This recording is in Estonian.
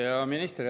Hea minister!